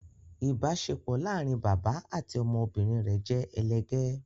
ibaṣepọ láarin bàbá àti ọmọ obìrin rẹ jẹ elegè